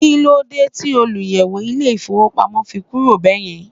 kílódé ti olùyẹ̀wò ilé ifowópamọ́ fi kúrò bẹ́ẹ̀yẹn